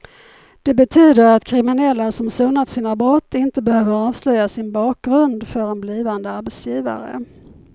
Det betyder att kriminella som sonat sina brott inte behöver avslöja sin bakgrund för en blivande arbetsgivare.